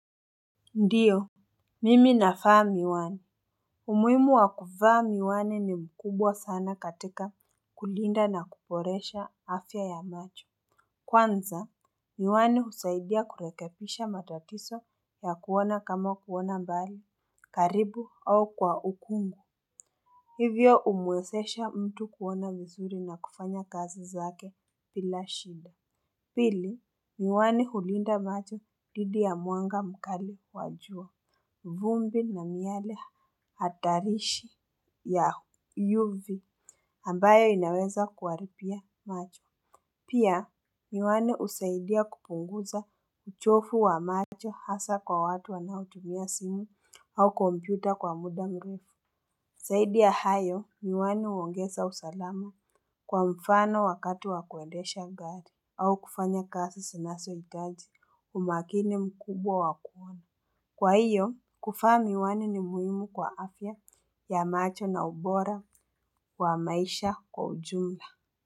Ndiyo, mimi navaa miwani. Umuhimu wa kuvaa miwani ni mkubwa sana katika kulinda na kuboresha afya ya macho. Kwanza, miwani husaidia kurekebisha matatizo ya kuona kama kuona mbali, karibu au kwa ukungu. Hivyo humwezesha mtu kuona vizuri na kufanya kazi zake bila shida. Pili, miwani hulinda macho dhidi ya mwanga mkali wa jua. Vumbi na miale hatarishi ya UV ambayo inaweza kuharibia macho. Pia miwani husaidia kupunguza uchovu wa macho hasa kwa watu wanaotumia simu au kompyuta kwa muda mrefu. Zaidi ya hayo miwani huongeza usalama kwa mfano wakati wa kuendesha gari au kufanya kazi zinazohitaji umakini mkubwa wa kuona. Kwa hiyo kuvaa miwani ni muhimu kwa afya ya macho na ubora wa maisha kwa ujumla.